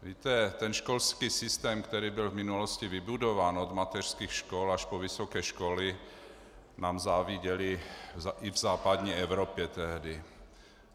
Víte, ten školský systém, který byl v minulosti vybudován, od mateřských škol až po vysoké školy, nám záviděli i v západní Evropě tehdy.